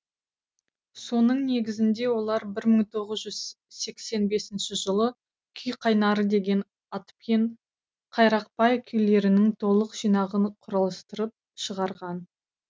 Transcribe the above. соның негізінде олар бір мың тоғыз жүз сексен бесінші жылы күй қайнары деген атпен қайрақбай күйлерінің толық жинағын құрастырып шығарған